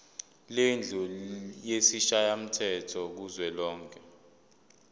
lendlu yesishayamthetho kuzwelonke